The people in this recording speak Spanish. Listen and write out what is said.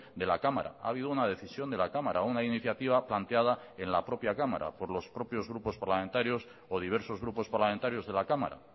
de la cámara ha habido una decisión de la cámara a una iniciativa planteada en la propia cámara por los propios grupos parlamentarios o diversos grupos parlamentarios de la cámara